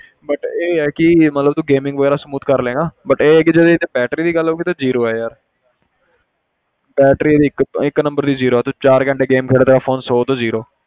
But ਇਹ ਹੈ ਕਿ ਮਤਲਬ ਤੂੰ gaming ਵਗ਼ੈਰਾ smooth ਕਰ ਲਵੇਂਗਾ but ਇਹ ਹੈ ਕਿ ਜੇ ਇਹ 'ਚ battery ਦੀ ਗੱਲ ਹੋਊਗੀ ਤੇ zero ਹੈ ਯਾਰ battery ਇਹਦੀ ਇੱਕ ਇੱਕ number ਦੀ zero ਆ ਤੂੰ ਚਾਰ ਘੰਟੇ game ਖੇਡਦਾ phone ਸੌ ਤੋਂ zero